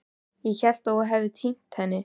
Ég hélt að þú hefðir týnt henni.